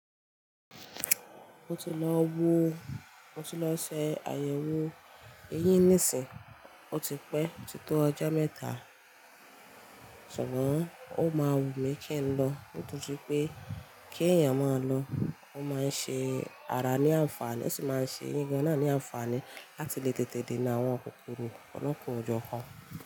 Ó ti lọ wo, ó ti lọ se àyẹ̀wò eyín nísìnyí, ó ti pẹ́ o ti tó ọjọ́ mẹ́ta, ṣùgbọ́n ó máa wù mí kí n lọ. Nítorí pé kí ẹ̀yàn mọ lọ, ó máa ń ṣe ara ní àǹfààní ó sì máa ń ṣe eyin gan náà ní àǹfààní láti lè tètè dènà àwọn kòkòrò ọlọ́kàn o jọ́ kan.